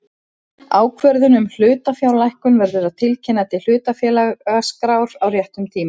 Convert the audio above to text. Ákvörðun um hlutafjárlækkun verður að tilkynna til hlutafélagaskrár á réttum tíma.